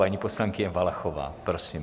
Paní poslankyně Valachová, prosím.